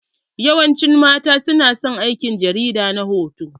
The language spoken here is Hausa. Yawancin mata su na son aikin jarida na hoto.